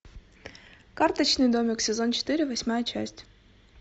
карточный домик сезон четыре восьмая часть